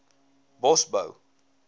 bosbou